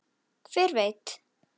Það var erfitt.